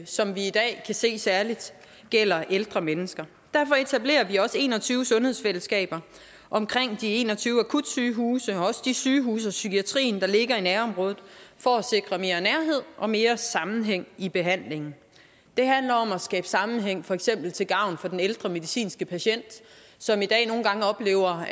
som vi i dag kan se særligt gælder ældre mennesker derfor etablerer vi også en og tyve sundhedsfællesskaber omkring de en og tyve akutsygehuse og også de sygehuse og psykiatrien der ligger i nærområdet for at sikre mere nærhed og mere sammenhæng i behandlingen det handler om at skabe sammenhæng for eksempel til gavn for den ældre medicinske patient som i dag nogle gange oplever